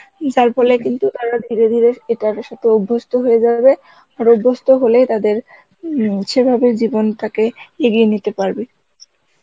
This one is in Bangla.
যার ফলে একদিন তারা ধীরে ধীরে এটার সাথে অভ্যস্ত হয়ে যাবে আর অভ্যস্ত হলে তাদের উম সেভাবে জীবনটাকে এগিয়ে নিতে পারবে